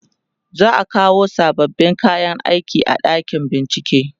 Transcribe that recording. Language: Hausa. za'a kawo sababbin kayan aiki a ɗakin bincike